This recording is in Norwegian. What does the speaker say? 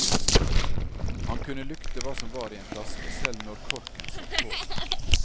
Han kunne lukte hva som var i en flaske selv når korken satt på.